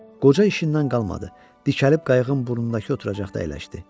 Qoca işindən qalmadı, dikəlib qayığın burnundakı oturacaqda əyləşdi.